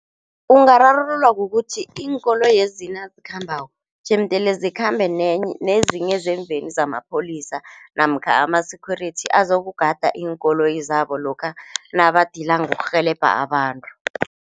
Ungararululwa kukuthi iinkoloyezi nazikhambako jemdele zikhambe nenye nezinye zemveni zamapholisa namkha ama-security azokugada iinkoloyi zabo lokha nabadila ngokurhelebha abantu.